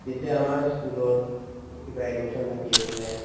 এতিয়া আমাৰ school ত উম কিবা admission থাকি আছিলে